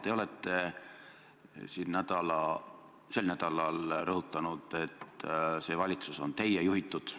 Te olete siin sel nädalal rõhutanud, et see valitsus on teie juhitud.